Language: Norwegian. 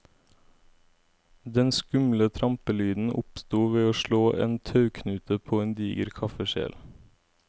Den skumle trampelyden oppsto ved å slå en tauknute på en diger kaffekjel.